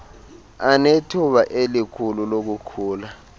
anethuba elikhulu lokukhula